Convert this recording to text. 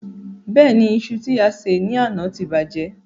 Bẹ́ẹ̀ni, iṣu tí a sè ní àná ti bàjẹ́.